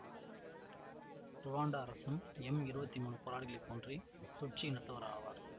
Rwanda அரசும் M இருவத்தி மூனு போராளிகளைப் போன்றே துட்சி இனத்தவர் ஆவர்